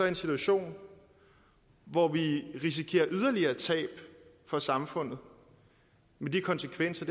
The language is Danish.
en situation hvor vi risikerer yderligere tab for samfundet med de konsekvenser